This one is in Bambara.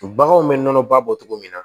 Baganw bɛ nɔnɔ ba bɔ cogo min na